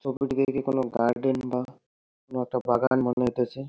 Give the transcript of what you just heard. ছবিটা দেখে কোন গার্ডেন বা কোন একটা বাগান মনে হইতেছে ।